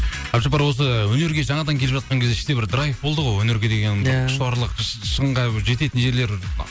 әбдіжаппар осы өнерге жаңадан келіп жатқан кезде іште бір драйв болды ғой өнерге деген құштарлық шыңға жететін жерлер